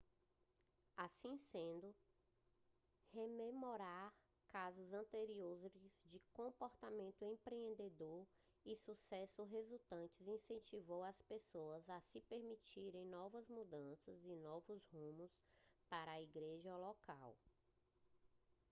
assim sendo rememorar casos anteriores de comportamento empreendedor e sucessos resultantes incentivou as pessoas a se permitirem novas mudanças e novos rumos para a igreja local